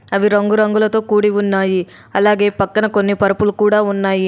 అవి రంగు రంగులతో కూడి ఉన్నాయి. అలాగే పక్కన కొన్ని పరుపులు కూడా ఉన్నాయి.